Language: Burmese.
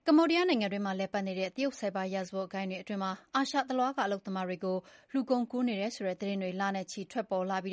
ကမေ ္ဘာဒီးယား နိုင်ငံတွင်းမှာ တရုတ်ဆိုက်ဘာ ရာဇဝတ်ဂိုဏ်းတွေ အတွင်းမှာ အာရှတလွှားက အလုပ်သမားတွေကို လူကုန်ကူးနေတယ်ဆိုတဲ့ သတင်းတွေ လနဲ့ချီ ထွက်ပေါ်လာပြီး